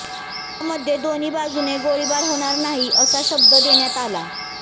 यामध्ये दोन्ही बाजुने गोळीबार होणार नाही असा शब्द देण्यात आला